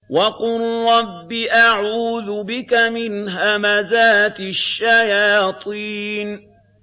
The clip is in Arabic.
وَقُل رَّبِّ أَعُوذُ بِكَ مِنْ هَمَزَاتِ الشَّيَاطِينِ